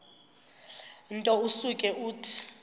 nto usuke uthi